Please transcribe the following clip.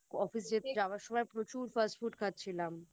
Office যাবার সময় প্রচুর Fast food খাচ্ছিলাম